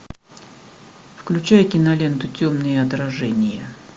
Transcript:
включай киноленту темные отражения